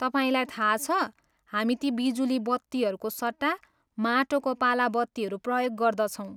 तपाईँलाई थाहा छ, हामी ती बिजुली बत्तीहरूको सट्टा माटोको पाला बत्तीहरू प्रयोग गर्दछौँ।